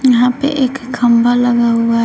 यहां पे एक खंभा लगा हुआ है।